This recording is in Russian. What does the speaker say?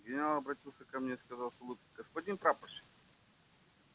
генерал обратился ко мне и сказал с улыбкою господин прапорщик